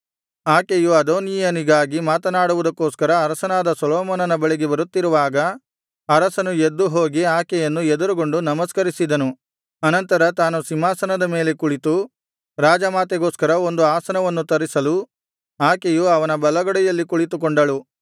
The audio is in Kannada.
ಆಕೆಯು ಅದೋನೀಯನಿಗಾಗಿ ಮಾತನಾಡುವುದಕ್ಕೋಸ್ಕರ ಅರಸನಾದ ಸೊಲೊಮೋನನ ಬಳಿಗೆ ಬರುತ್ತಿರುವಾಗ ಅರಸನು ಎದ್ದುಹೋಗಿ ಆಕೆಯನ್ನು ಎದುರುಗೊಂಡು ನಮಸ್ಕರಿಸಿದನು ಅನಂತರ ತಾನು ಸಿಂಹಾಸನದ ಮೇಲೆ ಕುಳಿತು ರಾಜ ಮಾತೆಗೋಸ್ಕರ ಒಂದು ಆಸನವನ್ನು ತರಿಸಲು ಆಕೆಯು ಅವನ ಬಲಗಡೆಯಲ್ಲಿ ಕುಳಿತುಕೊಂಡಳು